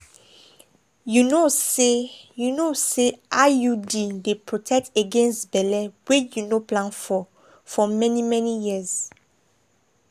you know say you know say iud dey protect against belle wey you no plan for for many-many years.